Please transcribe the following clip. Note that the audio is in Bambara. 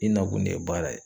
I nakun de ye baara ye